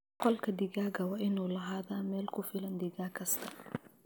Qolka digaaga waa inuu lahaadaa meel ku filan digaag kasta.